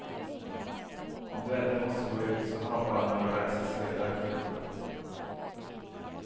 Om du ändå måste gå ut så ha bara några lösa sedlar i fickorna.